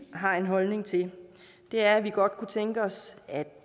har en holdning til er at vi godt kunne tænke os at